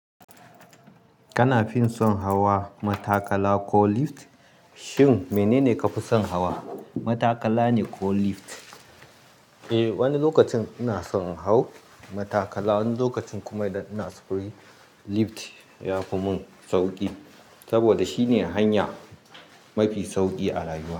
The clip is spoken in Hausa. Kana fin son hawa matakala ko lift? Shin menene kafi son hawa, matakala ne ko lift? Eh, wani lokacin ina son in hau matakala, wani lokacin kuma idan ina sufuri, lift yafi mun sauki. Saboda shine hanya mafi sauki a rayuwa.